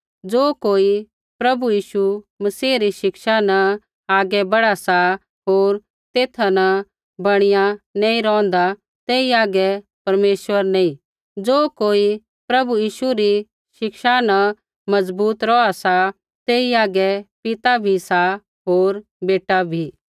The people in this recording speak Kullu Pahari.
ज़ो कोई प्रभु यीशु मसीह री शिक्षा न आगै बढ़ा सा होर तेथा न बणीया नैंई रौंहदा तेई हागै परमेश्वर नैंई ज़ो कोई प्रभु यीशु री शिक्षा न मजबूत रौहा सा तेई हागै पिता भी सा होर बेटा भी